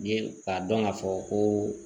Ye k'a dɔn k'a fɔ koo